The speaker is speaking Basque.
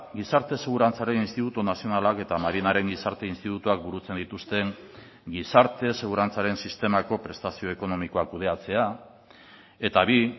gizarte segurantzaren institutu nazionalak eta marinaren gizarte institutuak burutzen dituzten gizarte segurantzaren sistemako prestazio ekonomikoak kudeatzea eta bi